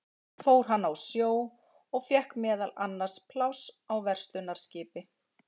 Seinna fór hann á sjó og fékk meðal annars pláss á verslunarskipi.